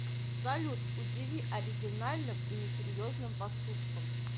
салют удиви оригинальным и несерьезным поступком